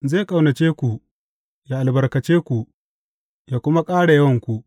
Zai ƙaunace ku, yă albarkace ku, yă kuma ƙara yawanku.